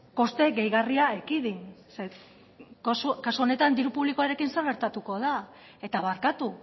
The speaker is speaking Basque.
koste gehigarria ekidin zeren kasu honetan diru publikoaren zer gertatuko da eta barkatu